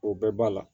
O bɛɛ b'a la